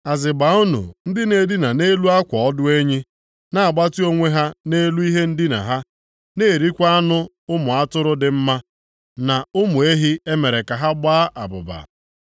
Azịgba unu ndị na-edina nʼelu akwa ọdụ enyi, na-agbatị onwe ha nʼelu ihe ndina ha, na-erikwa anụ ụmụ atụrụ dị mma na ụmụ ehi e mere ka ha gbaa abụba.